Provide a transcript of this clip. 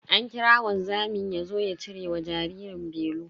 An kira wanzamin yazo ya cire wa jaririn belu.